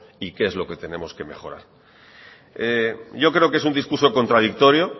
y qué es lo que tenemos que mejorar yo creo que es un discurso contradictorio